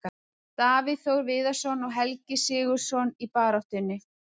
Davíð Þór Viðarsson og Helgi SIgurðsson í baráttunni.